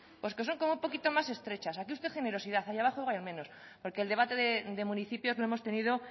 pues como que son un poquito más estrechas aquí usted generosidad y allá abajo igual es menos porque el debate de municipios lo hemos tenido